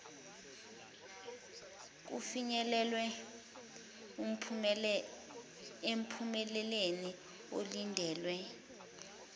kufinyelelwe emphumeleni olindelwe